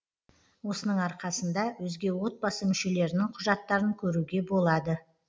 осының арқасында өзге отбасы мүшелерінің құжаттарын көруге болады